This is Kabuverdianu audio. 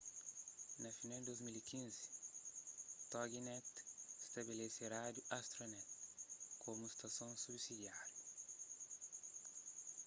na final di 2015 toginet stabelese rádiu astronet komu stason subsidiáriu